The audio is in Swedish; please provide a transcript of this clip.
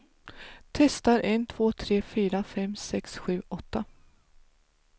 Testar en två tre fyra fem sex sju åtta.